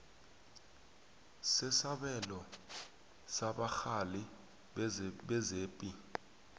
sesabelo sabarhali bezepi